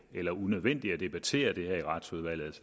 eller unødvendigt at debattere dette i retsudvalget